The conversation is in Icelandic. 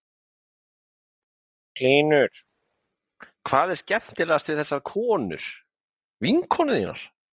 Magnús Hlynur: Hvað er skemmtilegast við þessar konur, vinkonur þínar?